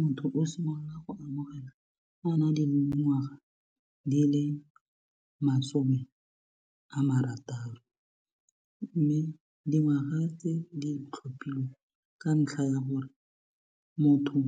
Motho o simolola go amogela a na le dingwaga di le masome a marataro mme dingwaga tse di tlhophilwe ka ntlha ya gore motho